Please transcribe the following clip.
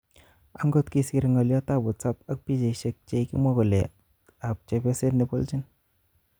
Akot kisir ngoliot ab Whatsapp ak pichaisiek chekikimwa kole ab chepyoset ne bolchin.